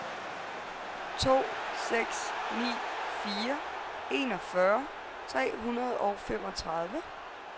to seks ni fire enogfyrre tre hundrede og femogtredive